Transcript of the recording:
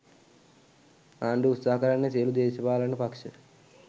ආණ්ඩුව උත්සාහ කරන්නේ සියලුම දේශපාලන පක්ෂ